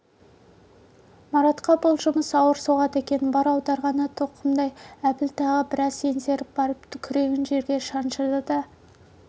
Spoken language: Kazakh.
маратқа бұл жұмыс ауыр соғады екен бар аударғаны тоқымдай-ақ әбіл тағы біраз еңсеріп барып күрегін жерге шаншыды да